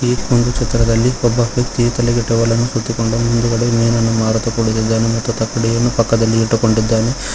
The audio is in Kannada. ಈ ಒಂದು ಚಿತ್ರದಲ್ಲಿ ಒಬ್ಬ ವ್ಯಕ್ತಿಯು ತಲೆಗೆ ಟವಲನ್ನು ಸುತ್ತಿಕೊಂಡು ಮುಂದಗಡೆ ಮೀನನ್ನು ಮಾರುತ್ತ ಕುಳಿತಿದ್ದಾನೆ ಮತ್ತು ತಕ್ಕಡಿಯನ್ನು ಪಕ್ಕದಲ್ಲಿ ಇಟ್ಟುಕೊಂಡಿದ್ದಾನೆ.